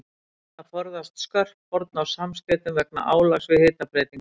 Menn reyna að forðast skörp horn á samskeytum vegna álags við hitabreytingar.